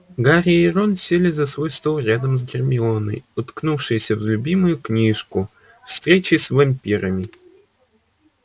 гарри и рон сели за свой стол рядом с гермионой уткнувшейся в любимую книжку встречи с вампирами